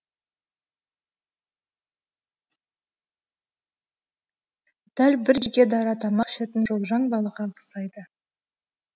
дәл бір жеке дара тамақ ішетін шолжаң балаға ұқсайды